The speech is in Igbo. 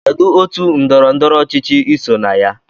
Kedụ otú ndọrọ ndọrọ ọchịchị iso na ya?